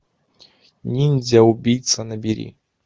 ниндзя убийца набери